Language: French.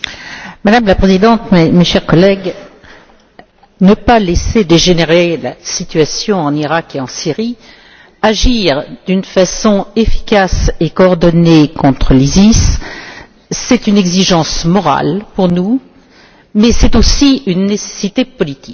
Madame la Présidente, chers collègues, ne pas laisser dégénérer la situation en Iraq et en Syrie, agir d'une façon efficace et coordonnée contre l'ISIS, c'est une exigence morale pour nous mais c'est aussi une nécessité politique.